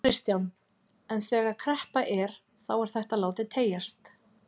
Kristján: En þegar kreppa er þá er þetta látið teygjast?